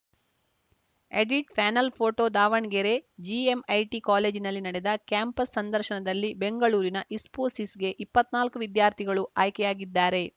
edit panel photo Davanagere GMIT ಕಾಲೇಜಿನಲ್ಲಿ ನಡೆದ campus ಸಂದರ್ಶನದಲ್ಲಿ ಬೆಂಗಳೂರಿನ ಇಸ್ಪೋಸಿಸ್‌ಗೆ ಇಪ್ಪತ್ತ್ನಾಲ್ಕು ವಿದ್ಯಾರ್ಥಿಗಳು ಆಯ್ಕೆಯಾಗಿದ್ದಾರೆ